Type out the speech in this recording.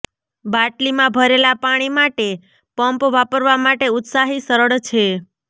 બાટલીમાં ભરેલા પાણી માટે પમ્પ વાપરવા માટે ઉત્સાહી સરળ છે